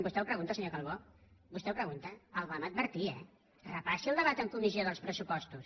vostè ho pregunta senyor calbó vostè ho pregunta el vam advertir eh repassi el debat en comissió dels pressupostos